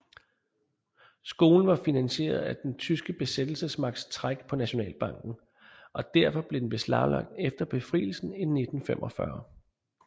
Skolen var finansieret af den tyske besættelsesmagts træk på Nationalbanken og derfor blev den beslaglagt efter Befrielsen i 1945